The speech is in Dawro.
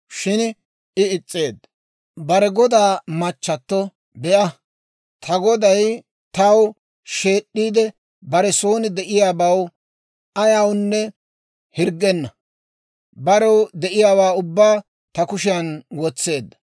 Shin I is's'eedda. Bare godaa machchatto, «Be'a; ta goday taw sheed'd'iide bare son de'iyaabaw ayawunne hirggenna; barew de'iyaawaa ubbaa ta kushiyaan wotseedda.